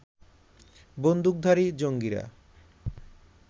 বন্দুকধারী জঙ্গিরা